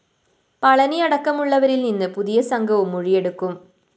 പളനിയടക്കമുള്ളവരില്‍ നിന്ന് പുതിയ സംഘവും മൊഴിയെടുക്കും